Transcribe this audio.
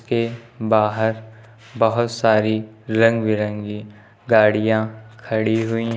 के बाहर बहुत सारी रंग बिरंगी गाड़ियां खड़ी हुई हैं।